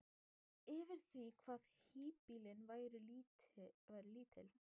yfir því hvað híbýlin væru lítil.